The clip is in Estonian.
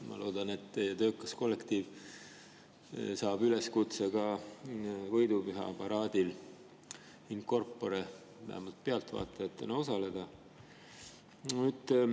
Ma loodan, et teie töökas kollektiiv saab üleskutse võidupüha paraadil in corpore vähemalt pealtvaatajatena osaleda.